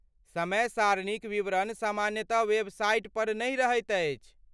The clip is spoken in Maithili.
समय सारणीक विवरण सामान्यतः वेबसाइट पर नहि रहैत अछि।